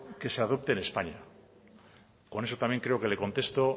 que se adopte en españa con eso también creo que le contesto